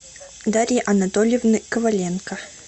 дарьи анатольевны коваленко